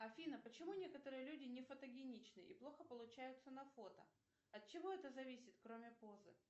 афина почему некоторые люди не фотогеничны и плохо получаются на фото от чего это зависит кроме позы